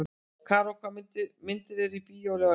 Karó, hvaða myndir eru í bíó á laugardaginn?